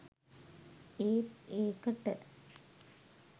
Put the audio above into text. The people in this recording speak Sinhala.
ඒත් ඒකට